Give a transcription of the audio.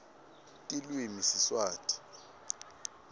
tilwimi siswati